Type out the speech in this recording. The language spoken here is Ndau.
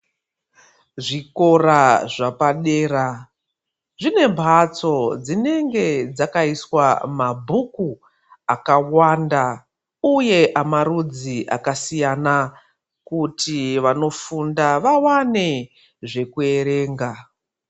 Zvikora zvapadera zvinembatso dzinenge dzakaiswa mabhuku akawanda uye amarudzi akasiya kuti vanofunda vawane zvekuerenga.